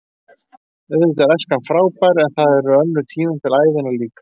Auðvitað er æskan frábær en það eru önnur tímabil ævinnar líka.